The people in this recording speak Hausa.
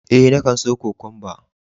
Eh, na kan so Kokwamba.